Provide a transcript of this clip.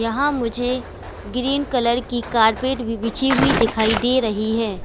यहाँ मुझे green colour की कारपेट भी बिछी हुई दिखाई दे रही है।